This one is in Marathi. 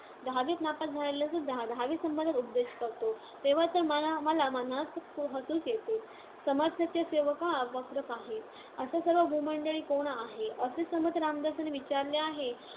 दहावीत नापास झालेलासुद्धा दहावीसंबंधात उपदेश करतो, तेव्हा तर मला मनात हसूच येते. समर्थाचिया सेवका वक्र पाहे, असा सर्व भूमंडळी कोण आहे? असे समर्थ रामदासांनी विचारले आहे.